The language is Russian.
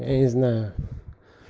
я не знаю